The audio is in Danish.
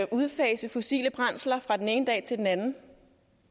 udfase fossile brændsler fra den ene dag til den anden